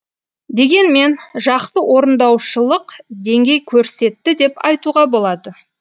дегенмен жақсы орындаушылық деңгей көрсетті деп айтуға болады